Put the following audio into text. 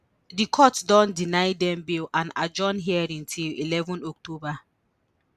di court don deny dem bail and adjourn hearing to eleven october